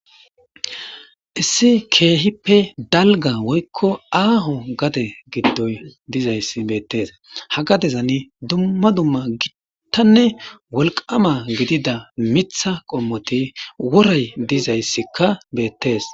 issi keehippe dalga woykko aaho gade giddoy dizayssi beettees ha gadezani dumma dumma gittanne wolqama gidida mitha qommoti worey dizayssikka beettees